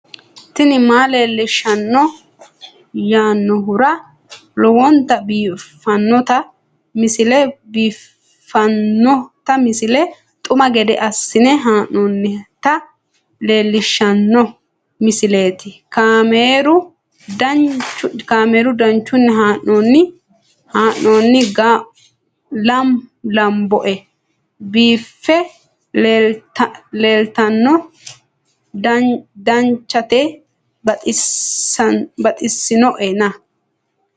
tini maa leelishshanno yaannohura lowonta biiffanota misile xuma gede assine haa'noonnita leellishshanno misileeti kaameru danchunni haa'noonni lamboe biiffe leeeltanno danchate baxissinoena